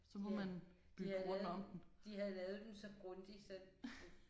De de havde lavet de havde lavet den så grundigt så